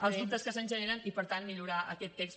els dubtes que se’ns generen i per tant millorar aquest text